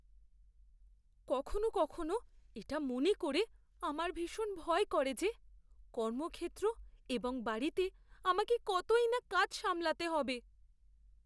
কখনও কখনও এটা মনে করে আমার ভীষণ ভয় করে যে কর্মক্ষেত্র এবং বাড়িতে আমাকে কতই না কাজ সামলাতে হবে।